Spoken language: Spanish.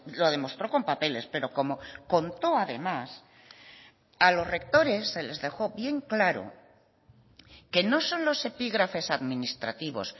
lo demostró con papeles pero como contó además a los rectores se les dejó bien claro que no son los epígrafes administrativos